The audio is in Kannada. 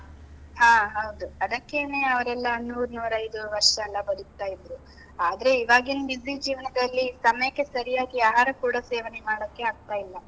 ಹಾ ಹೌದು. ಅದಕ್ಕೇನೇ ಅವ್ರೆಲ್ಲ ನೂರ್ ನೂರೈದು ವರ್ಷ ಎಲ್ಲಾ ಬದುಕ್ತಾ ಇದ್ರು, ಆದ್ರೆ ಇವಾಗಿನ್ busy ಜೀವನದಲ್ಲಿ ಸಮಯಕ್ಕೆ ಸರಿಯಾಗಿ ಆಹಾರ ಕೂಡ ಸೇವನೆ ಮಾಡಕ್ಕೆ ಆಗ್ತಾ ಇಲ್ಲ.